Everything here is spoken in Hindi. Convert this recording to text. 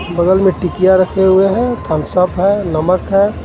बगल में टिकिया रखे हुए हैं थम्स अप है नमक है.